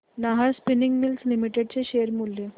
Nahar spinning mills limited चे share मूल्य